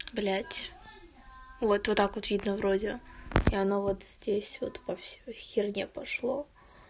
блять вот вот так вот видно вроде и она вот здесь вот по всей херней пошло